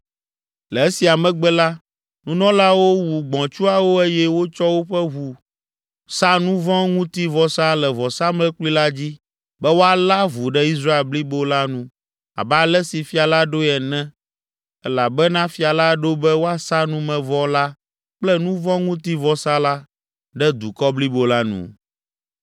Le esia megbe la, nunɔlaawo wu gbɔ̃tsuawo eye wotsɔ woƒe ʋu sa nu vɔ̃ ŋuti vɔsa le vɔsamlekpui la dzi be wòalé avu ɖe Israel blibo la nu abe ale si fia la ɖoe ene elabena fia la ɖo be woasa numevɔ la kple nu vɔ̃ ŋuti vɔsa la ɖe dukɔ blibo la nu.